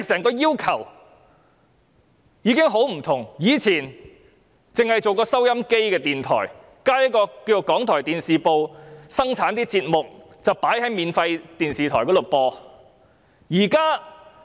過往，港台只是播放電台節目的電台，只有電視部製作的節目會在免費電視台上播放。